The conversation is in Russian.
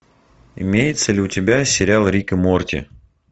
имеется ли у тебя сериал рик и морти